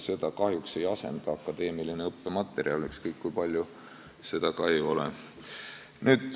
Seda kahjuks ei asenda akadeemiline õppematerjal, ükskõik kui palju seda ka ei ole.